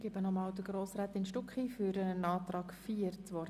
Ich erteile nochmals Grossrätin Stucki für den Antrag 4 das Wort.